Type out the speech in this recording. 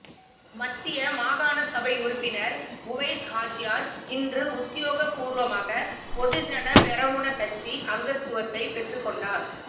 மத்திய மாகாணசபை உறுப்பினர் உவைஸ் ஹாஜியார் இன்று உத்தியோக பூர்வமாக பொதுஜன பெரமுன கட்சி அங்கத்துவத்தைப் பெற்றுக்கொண்டார்